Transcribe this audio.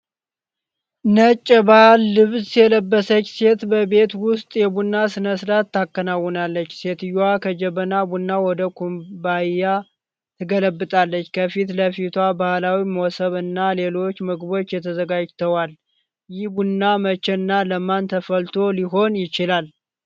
ነጭ የባህል ልብስ የለበሰች ሴት በቤት ውስጥ የቡና ሥነ-ሥርዓት ታከናውናለች። ሴትየዋ ከጀበና ቡና ወደ ኩባያ ትገለብጣለች፤ ከፊት ለፊቷ ባህላዊ መሶብ እና ሌሎች ምግቦች ተዘጋጅተዋል፡፡ ይህ ቡና መቼ እና ለማን ተፈልቶ ሊሆን ይችላል?